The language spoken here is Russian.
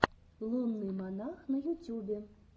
лунный монах на ютюбе